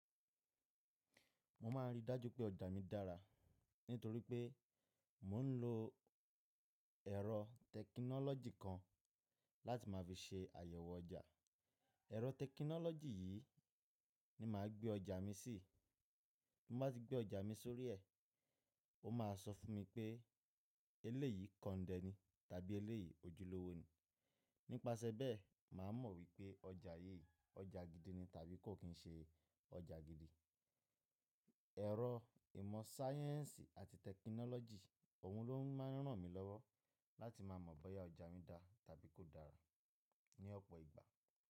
Mo ma n rí dájú pé ọjà mi dára nítorí pé mo n lo ẹ̀rọ tẹ̀kínọ́lọ́jì kan láti máa fi ṣe àyẹ̀wò ọjà. Ẹ̀rọ tẹ̀kínọ́lọ́jì yìí ni màá gbé ọjà mi sí. Bí mo bá ti gbé ọjà mi sórí ẹ, ó ma sọ fún mi pé eléyìí kọ̀ndẹ́ ni tàbí eléyìí ojúlówó ni. Nípasẹ̀ bẹ́ẹ̀, màá mọ̀ wípé ọjà yí ọjà gidi ni tàbí kò kín ṣe ọjà gidi. Ẹ̀rọ ìmọ̀ sáyẹ̀nsì àti tẹ̀kínọ́lọ́jì, òun ló n máa n rán mi lọ́wọ́ láti ma mọ̀ bóyá ọjà mi dá tàbí kò dára ní ọ̀pọ̀ ìgbà.